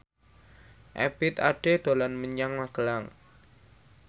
Ebith Ade dolan menyang Magelang